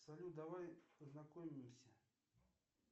салют давай познакомимся